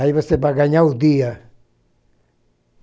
Aí você vai ganhar o dia.